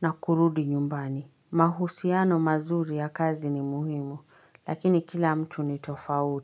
na kurudi nyumbani. Mahusiano mazuri ya kazi ni muhimu, lakini kila mtu ni tofauti.